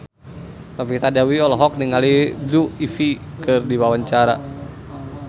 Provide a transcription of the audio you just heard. Novita Dewi olohok ningali Blue Ivy keur diwawancara